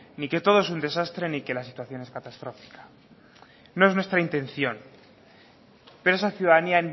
ni que todo es un desastre ni que la situación es catastrófica no es nuestra intención pero esa ciudadanía